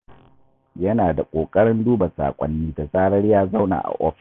Yana da ƙoƙarin duba saƙonni da zarar ya zauna a ofis.